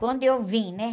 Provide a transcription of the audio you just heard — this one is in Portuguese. Quando eu vim, né?